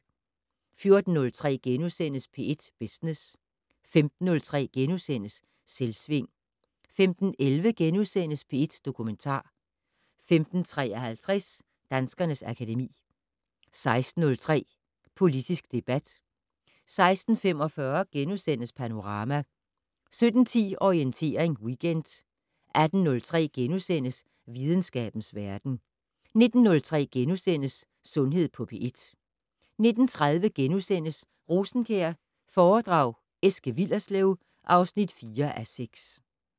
14:03: P1 Business * 15:03: Selvsving * 15:11: P1 Dokumentar * 15:53: Danskernes akademi 16:03: Politisk debat 16:45: Panorama * 17:10: Orientering Weekend 18:03: Videnskabens verden * 19:03: Sundhed på P1 * 19:30: Rosenkjær foredrag Eske Willerslev (4:6)*